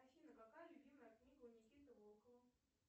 афина какая любимая книга у никиты волкова